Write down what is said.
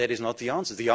That is not the answer.